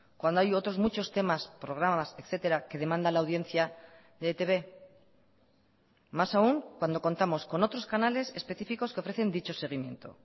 cuando hay otros muchos temas programas etcétera que demanda la audiencia de etb más aún cuando contamos con otros canales específicos que ofrecen dicho seguimiento